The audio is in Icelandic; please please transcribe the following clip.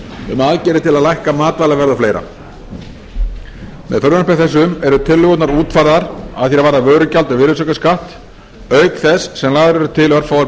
um aðgerðir til að lækka matvælaverð og fleiri með frumvarpi þessu eru tillögurnar útfærðar að því er varðar vörugjald og virðisaukaskatt auk þess sem lagðar eru til örfáar